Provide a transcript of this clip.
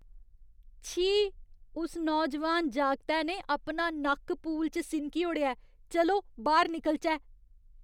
छी! उस नौजवान जागतै ने अपना नक्क पूल च सिनकी ओड़ेआ ऐ। चलो बाह्‌र निकलचै।